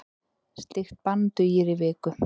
Slíkt bann dugir í viku.